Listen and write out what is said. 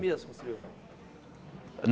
Mesmo construiu?